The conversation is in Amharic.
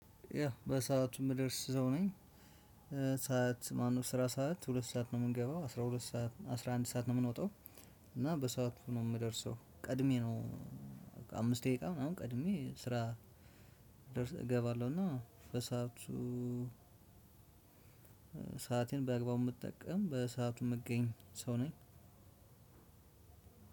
ያ በሰአቱ የምደርስ ሰው ነኝ። ሰዓት ማነው ስራ ሰዓት ሁለት ሰዓት ነው የምንገባው አስራ ሁለት ሰዓት አስራ አንድ ሰዓት ነው የምንወጣው። እና በሰአት ነው የምደርሰው ቀድሜ ነው። አምስት ደቂቃ ምናምን ቀድሜ ስራ። እገባለሁና በሰአቱ። ሰአቴን በአግባቡ የምትጠቀም በሰአቱ የምገኝ ሰው ነኝ።